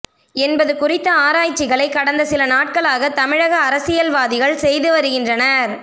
என்பது குறித்த ஆராய்ச்சிகளை கடந்த சில நாட்களாக தமிழக அரசியல்வாதிகள் செய்து வருகின்றனர்